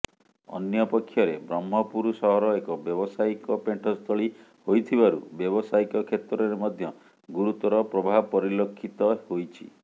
ଅନ୍ୟପକ୍ଷରେ ବ୍ରହ୍ମପୁର ସହର ଏକ ବ୍ୟବସାୟୀକ ପେଣ୍ଠସ୍ଥଳୀ ହୋଇଥିବାରୁ ବ୍ୟବସାୟିକ କ୍ଷେତ୍ରରେ ମଧ୍ୟ ଗୁରୁତର ପ୍ରଭାବ ପରିଲକ୍ଷିତ ହୋଇଛି